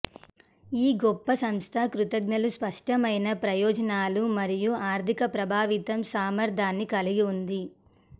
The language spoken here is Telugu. ఈ గొప్ప సంస్థ కృతజ్ఞతలు స్పష్టమైన ప్రయోజనాలు మరియు ఆర్ధిక ప్రభావితం సామర్ధ్యాన్ని కలిగి ఉంది